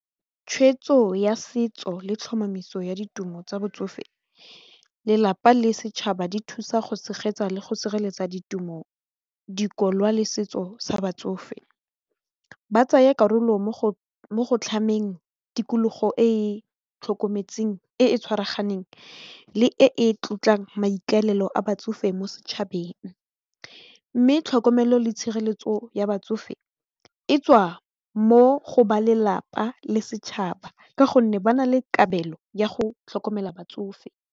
Tshwetso ya setso le tlhomamiso ya ditumo tsa botsofe, lelapa le setšhaba di thusa go tshegetsa le go sireletsa ditumo, dikokwa le setso sa batsofe, ba tsaya karolo mo go tlhameng tikologo e e tshwaraganeng le e tlotlang maikaelelo a batsofe mo setšhabeng mme tlhokomelo le tshireletso ya batsofe e tswa mo go balelapa le setšhaba ka gonne ba na le kabelo ya go tlhokomela batsofe.